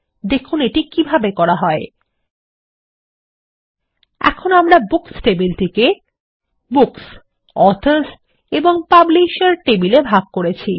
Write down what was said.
দেখুন কিভাবে এটি করা হয় এখন আমরা বুকস টেবিল টিকে বুকস অথর্স এবং পাবলিশের টেবিলে ভাগ করেছি